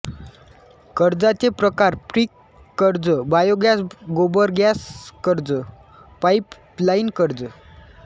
कर्जांचे प्रकार पिक कर्ज बायोगॅस गोबर गॅस कर्ज पाईपलाईन कर्ज